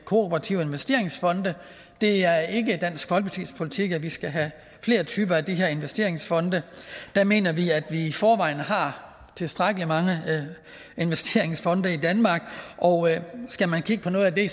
kooperative investeringsfonde det er ikke dansk folkepartis politik at vi skal have flere typer af de her investeringsfonde der mener vi at vi i forvejen har tilstrækkelig mange investeringsfonde i danmark og skal man kigge på noget af det